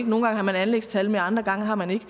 nogle gange har man anlægstal med andre gange har man ikke